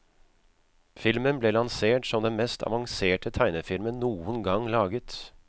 Filmen ble lansert som den mest avanserte tegnefilmen noen gang laget.